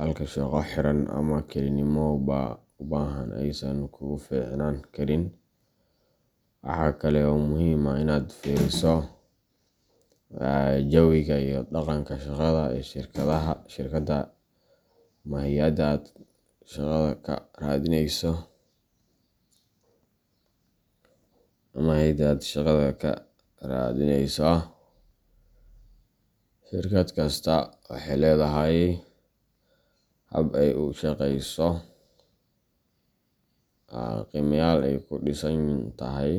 halka shaqo xiran ama kelinimo u baahan aysan kugu fiicnaan karin. Waxaa kale oo muhiim ah in aad fiiriso jawiga iyo dhaqanka shaqada ee shirkadda ama hay’adda aad shaqada ka raadinayso. Shirkad kasta waxay leedahay hab ay u shaqeyso, qiimayaal ay ku dhisan tahay.